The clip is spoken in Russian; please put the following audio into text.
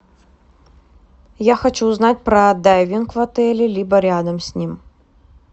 я хочу узнать про дайвинг в отеле либо рядом с ним